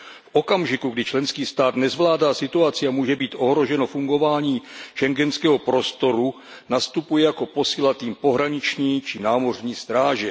V okamžiku, kdy členský stát nezvládá situaci a může být ohroženo fungování schengenského prostoru, nastupuje jako posila tým pohraniční či námořní stráže.